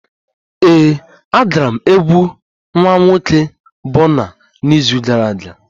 Ee, agara m egwu nwa nwoke Bọna n'izu gara aga